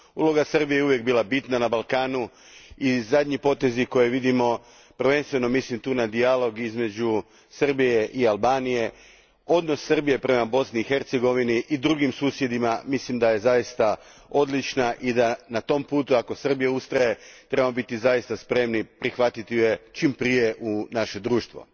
Uloga Srbije je uvijek bila bitna na Balkanu i zadnji potezi koje vidimo, prvenstveno mislim na dijalog između Srbije i Albanije, odnos Srbije prema Bosni i Hercegovini i drugim susjedima, mislim da su odlični i ako Srbija ustraje na tom putu, trebamo biti spremni prihvatiti je čim prije u naše društvo.